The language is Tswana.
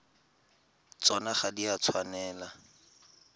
tsona ga di a tshwanela